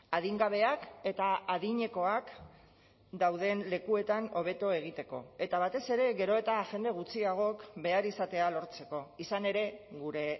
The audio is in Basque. adingabeak eta adinekoak dauden lekuetan hobeto egiteko eta batez ere gero eta jende gutxiagok behar izatea lortzeko izan ere gure